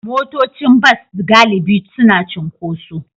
Motocin bas galibi suna cunkoso.